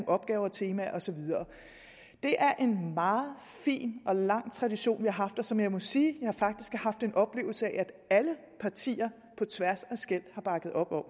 opgaver temaer og så videre det er en meget fin og lang tradition vi har haft og som jeg må sige jeg faktisk har haft en oplevelse af at alle partier på tværs af skel har bakket op om